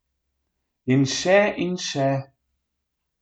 In še in še.